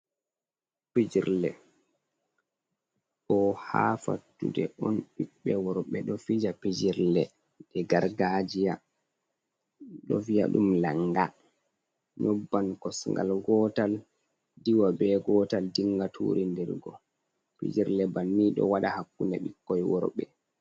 Pijirle. Ɗo ha fattude on ɓiɓɓe worɓe ɗo fija pijirle gargajiya. Ɓe ɗo viya ɗum langa, nyobban kosngal gotal, diwa be gotal, dinga turindirgo. Pijirle banni ɗo waɗa hakkunde ɓikkoi worɓe.